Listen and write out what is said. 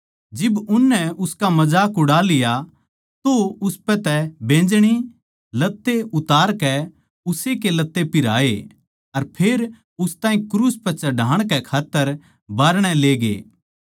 जिब उननै उसका मजाक उड़ा लिया तो उसपै तै बैंजनी लत्ते उतारकै उस्से के लत्ते पिहराए अर फेर उस ताहीं क्रूस पै चढ़ाण कै खात्तर बाहरणै ले गये